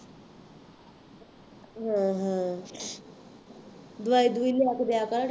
ਹਾਂ ਹਾਂ ਦਵਾਈ ਦਵੂਈ ਲਿਆ ਕੇ ਦਿਆ ਕਰ